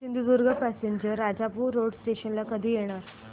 Sindhudurg passenger Rajapur road station ला कधी येणार